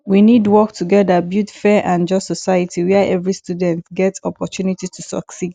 we need work together build fair and just society where every students get oppotunity to succeed